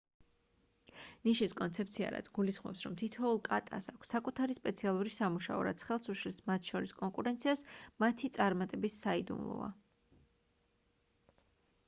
ნიშის კონცეფცია რაც გულისხმობს რომ თითოეულ კატას აქვს საკუთარი სპეციალური სამუშაო რაც ხელს უშლის მათ შორის კონკურენციას მათი წარმატების საიდუმლოა